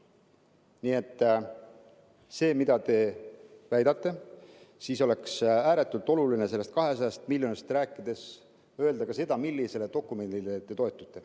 Nii et see, mida te väidate – oleks ääretult oluline sellest 200 miljonist rääkides öelda ka seda, millisele dokumendile te toetute.